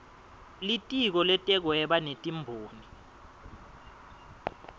litiko letekuhweba netimboni